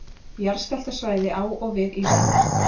Jarðskjálftasvæði á og við Ísland.